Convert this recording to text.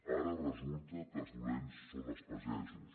ara resulta que els dolents són els pagesos